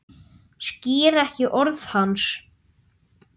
Skil ekki orð hans.